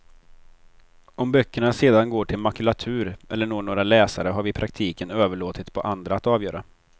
Om böckerna sedan går till makulatur eller når några läsare har vi i praktiken överlåtit på andra att avgöra.